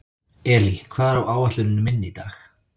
Elí, hvað er á áætluninni minni í dag?